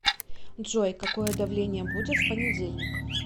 джой какое давление будет в понедельник